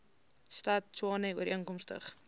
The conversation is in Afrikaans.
stad tshwane ooreenkomstig